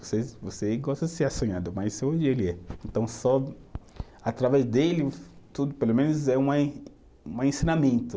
Você você gosta de ser, mas hoje ele é. Então, só através dele, tudo, pelo menos, é uma em, uma ensinamento.